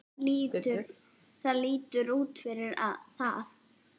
Það lítur út fyrir það